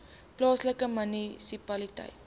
plaaslike munisipaliteit